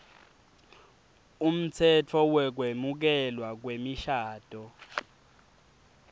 umtsetfo wekwemukelwa kwemishado